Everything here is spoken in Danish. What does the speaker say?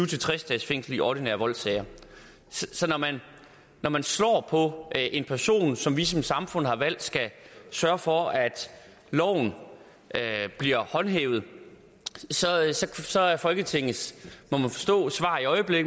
tres dages fængsel i ordinære voldssager så når man slår på en person som vi som samfund har valgt skal sørge for at loven bliver håndhævet så er folketingets svar